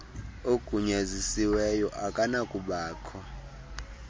ugunyazisiweyo akanakuba kho